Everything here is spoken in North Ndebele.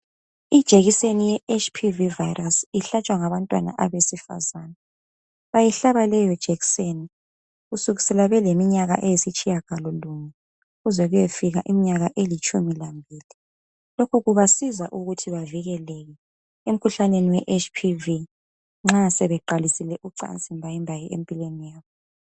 Ijekiseni ye HPV viro ihlatshwa ngabantwana aba. Ihlatshwa leyo jekiseni kusukisela beleminyaka eyisitshiya galo mbili, kuze kuyefika iminyaka elitshumi lambili. Lokhu kubasiza ukuthi bavikeleke emkhuhlaneni weHPV nxa sebeqalisile ucansi mbayimbayi empilweni zabo.